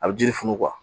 A bɛ jiri funu